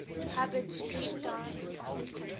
hubbard street dance